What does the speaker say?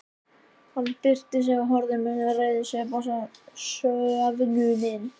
Hann byrsti sig og horfði með reiðisvip á söfnuðinn.